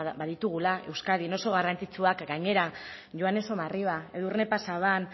baditugula euskadin oso garrantzitsuak gainera joane somarriba edurne pasaban